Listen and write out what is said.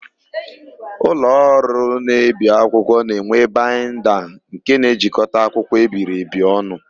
Ụlọọrụ na-ebi akwụkwọ na-enwe baịnda nke na-ejikọta akwụkwọ ebiri ebi ọnụ.